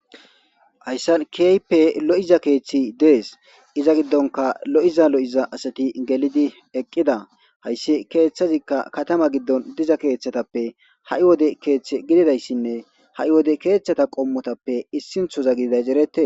Haysan kehipe lo'iza kethi de'es iza gidonka lo'za lo'za asati gelidi eqida haysi kethazika Katama gidon diza kethatape ha'i wode kethi gididaysinne ha'i wode kethata qomotape isintoza gididaysi eretes.